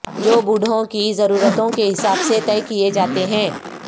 جو بوڑھوں کی ضرورتوں کے حساب سے طے کیئے جاتے ہیں